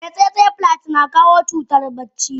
Eh tsetse fly na kawo cutar bacci.